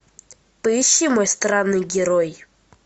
поищи мой странный герой